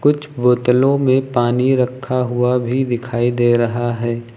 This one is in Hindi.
कुछ बोतलों में पानी रखा हुआ भी दिखाई दे रहा है।